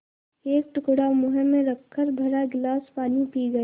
एक टुकड़ा मुँह में रखकर भरा गिलास पानी पी गया